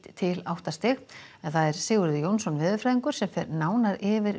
til átta stig Sigurður Jónsson veðurfræðingur fer nánar yfir